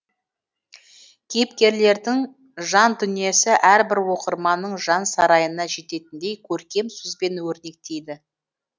кейіпкерлердің жан дүниесі әрбір оқырманның жан сарайына жететіндей көркем сөзбен өрнектейді